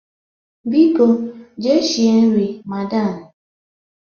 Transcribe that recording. Biko jee shie nri, madam!